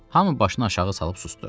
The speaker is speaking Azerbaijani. Hamı başını aşağı salıb susdu.